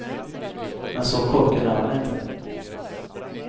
Men så korkad är han inte.